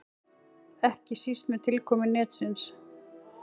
Ekki síst með tilkomu netsins.